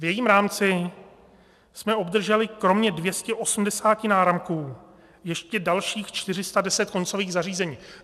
V jejím rámci jsme obdrželi kromě 280 náramků ještě dalších 410 koncových zařízení.